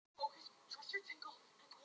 Hvernig fer Ísland- Slóvenía?